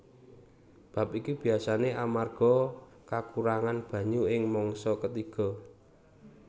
Bab iki biasané amarga kakurangan banyu ing mangsa ketiga